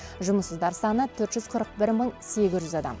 жұмыссыздар саны төрт жүз қырық бір мың сегіз жүз адам